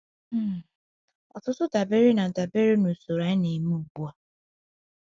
um Ọtụtụ dabere na dabere na usoro anyị na-eme ugbu a.